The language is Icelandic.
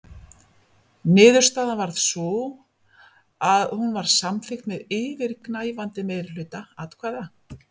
Niðurstaðan varð sú að hún var samþykkt með yfirgnæfandi meirihluta atkvæða.